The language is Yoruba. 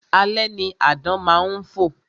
Alẹ́ ni àdán má ń fò